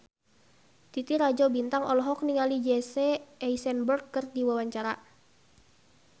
Titi Rajo Bintang olohok ningali Jesse Eisenberg keur diwawancara